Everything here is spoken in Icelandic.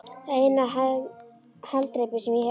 Það er eina haldreipið sem ég hef.